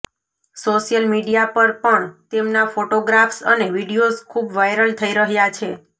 social media પર પણ તેમના ફોટોગ્રાફ્સ અને વીડિયોઝ ખૂબ વાયરલ થઈ રહ્યાં છે